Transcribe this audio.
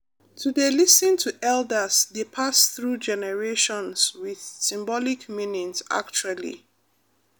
to dey lis ten to elders dey pass through generations with symbolic meaning actually